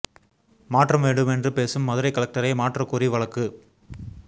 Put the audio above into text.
மாற்றம் வேண்டும் என்று பேசும் மதுரை கலெக்டரை மாற்றக் கோரி வழக்கு